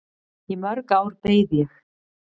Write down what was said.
Í mörg ár beið ég.